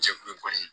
Cɛkulu kɔni